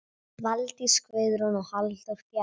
Valdís Guðrún og Halldór Bjarni.